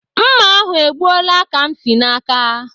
Mma ahụ e gbuola Kamsi n'aka.